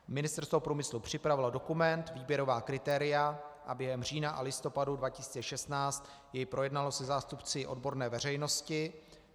Ministerstvo průmyslu připravilo dokument výběrová kritéria a během října a listopadu 2016 jej projednalo se zástupci odborné veřejnosti.